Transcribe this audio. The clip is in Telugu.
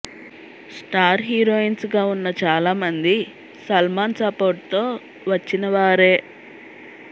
స్టార్ హీరోయిన్స్ గా ఉన్న చాలా మంది సల్మాన్ సపోర్ట్ తో వచ్చినవారే